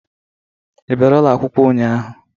Ị bịara ụlọ akwụkwọ ụnyaahụ?